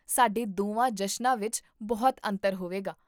ਸਾਡੇ ਦੋਵਾਂ ਜਸ਼ਨਾਂ ਵਿੱਚ ਬਹੁਤ ਅੰਤਰ ਹੋਵੇਗਾ